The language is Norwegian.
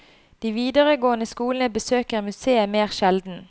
De videregående skolene besøker museet mer sjelden.